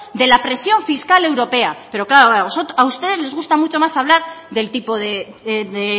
de la presión fiscal europea pero claro a ustedes les gusta mucho más hablar del tipo de